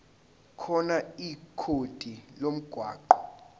khona ikhodi lomgwaqo